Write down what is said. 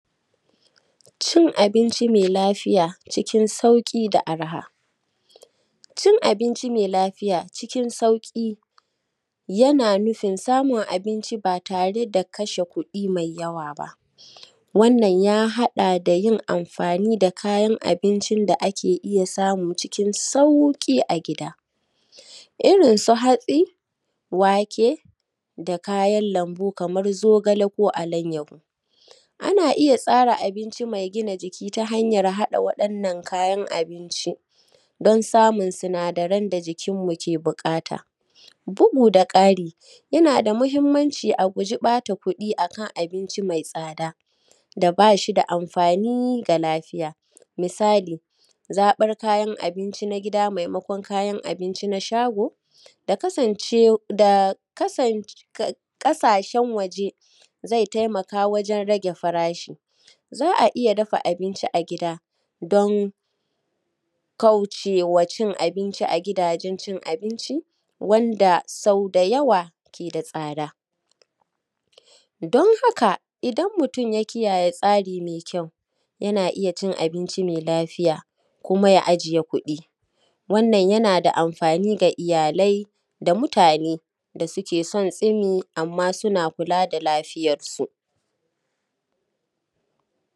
Cin Abinci Mai Lafiya Cikin Sauki Da Arha, Cin Abinci Mai Lafiya Cikin Sauki yana nufin samun abinci ba tare da kashe kuɗi mai yawa ba. Wannan ya haɗa da yin amfani da kayan abincin da ake iya samu cikin sauƙi a gida, irin su hatsi, wake, da kayan lambu kamar zogale ko alayyahu. Ana iya tsara abinci mai gina jiki ta hanyan haɗawa wa wannan kayan abinci don samun sinadaran da jikinmu ke buƙata. Bugu da kari, yana da mahimmanci mu guji ɓata kuɗi akan abinci mai tsada da ba shi da amfani ga lafiya. Misali, zaɓa kayan abinci na gida maimaƙon kayan abinci na shago da ƙasashen waje zai taimaka wajen rage farashi. Za a iya dafa abinci a gida domin kaucewa cin abinci a gidajen cin abinci, wanda sabodi yawa yana da tsada. Domin haka, idan mutum ya kiyaye tsari mai kyau, yana iya cin abinci mai lafiya kuma ya ajiye kuɗi. Wannan yana da amfani ga iyalai da mutane da suke son tsumi amma suna kula da lafiyarsu.